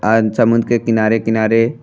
आज समुद्र के किनारे किनारे --